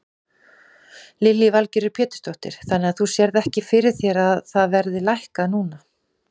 Lillý Valgerður Pétursdóttir: Þannig að þú sérð ekki fyrir þér að það verði lækkað núna?